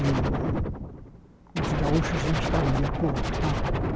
E o os gaúchos não estavam de acordo tá.